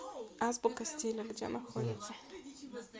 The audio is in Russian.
азбука стиля где находится